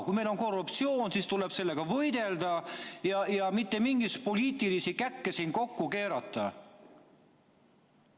Kui meil on korruptsioon, siis tuleb sellega võidelda ja mitte mingeid poliitilisi käkke siin kokku keerata.